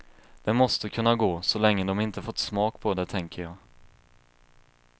Det måste kunna gå, så länge dom inte fått smak på det tänker jag.